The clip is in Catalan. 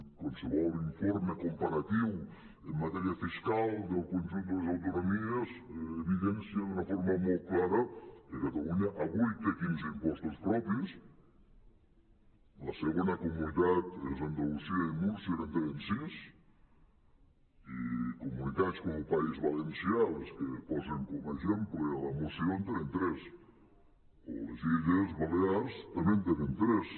qualsevol informe comparatiu en matèria fiscal del conjunt de les autonomies evi·dencia d’una forma molt clara que catalunya avui té quinze impostos propis la segona comunitat és andalusia i múrcia que en tenen sis i comunitats com el país valencià les que posen com a exemple a la moció en tenen tres o les illes balears també en tenen tres